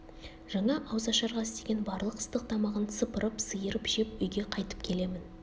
жаңа ауыз ашарға істеген барлық ыстық тамағын сыпырып-сиырып жеп үйге қайтып келемін